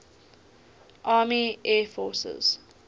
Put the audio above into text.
army air forces